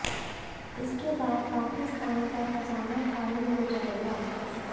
इसके बाद पाकिस्तान का खजाना खाली हो जाएगा